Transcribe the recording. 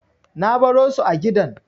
Na baro su a gidan.